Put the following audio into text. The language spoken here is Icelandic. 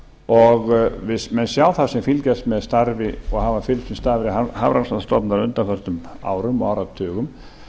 og menn sjá það sem fylgjast með og hafa fylgst með starfi hafrannsóknastofnunar á undanförnum árum og áratugum